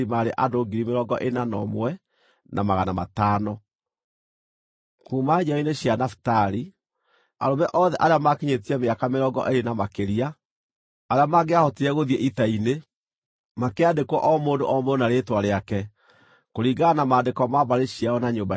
Kuuma njiaro-inĩ cia Nafitali: Arũme othe arĩa maakinyĩtie mĩaka mĩrongo ĩĩrĩ kana makĩria, arĩa mangĩahotire gũthiĩ ita-inĩ, makĩandĩkwo o mũndũ o mũndũ na rĩĩtwa rĩake, kũringana na maandĩko ma mbarĩ ciao na nyũmba ciao.